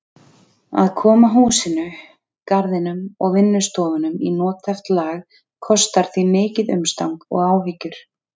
Að koma húsinu, garðinum og vinnustofunum í nothæft lag kostar því mikið umstang og áhyggjur.